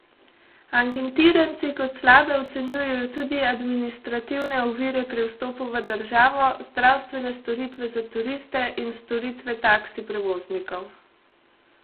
Anketiranci kot slabe ocenjujejo tudi administrativne ovire pri vstopu v državo, zdravstvene storitve za turiste in storitve taksi prevoznikov.